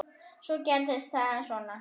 Svo gerist það svona.